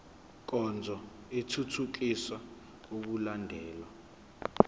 nkonzo ithuthukisa ukulandelwa